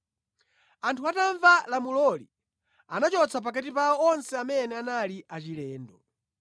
Anthu atamva lamuloli, anachotsa pakati pawo onse amene anali achilendo.